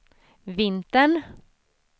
vintern